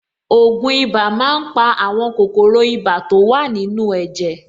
Ògùn ibà máa ń pa àwọn kòkòrò ibà to wà nínú ẹ̀jẹ̀.